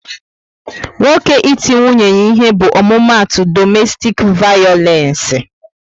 Nwoke iti nwunye ya ihe bụ omumatu domestik vayolence